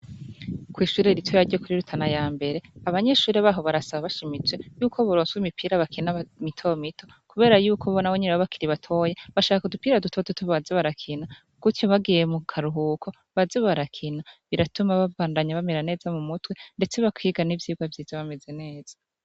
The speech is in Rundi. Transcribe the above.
Kw'ishure ritoya ryo kuri Rutana ya mbere, abanyeshure baho barasaba bashimitse, y'uko baronswa imipira bakina mitomito, kubera yuko ubu na bo nyene baba bakiri batoyi, bashaka udupira dutototo baze barakina, gutyo bagiye mu karuhuko, baze barakina, biratuma babandanye bamera neza mu mutwe, ndetse bakiga n'ivyigwa vyiza bameze neza.